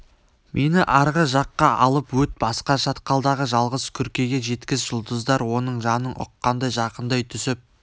мені арғы жаққа алып өт басқа шатқалдағы жалғыз күркеге жеткіз жұлдыздар оның жанын ұққандай жақындай түсіп